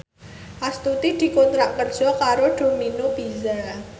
Astuti dikontrak kerja karo Domino Pizza